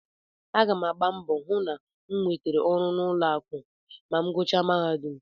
Aga m agba mbọ hụ na m nwetara ọrụ n'ụlọakụ ma m gụchaa mahadum